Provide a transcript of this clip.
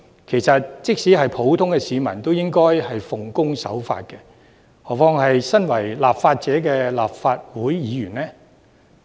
其實，即使是普通市民，也應該奉公守法，遑論身為立法者的立法會議員呢？